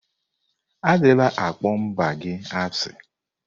Adịla akpọ mba gị asị!